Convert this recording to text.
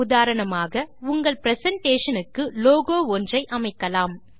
உதாரணமாக் உங்கள் பிரசன்டேஷன் க்கு லோகோ ஒன்று அமைக்கலாம்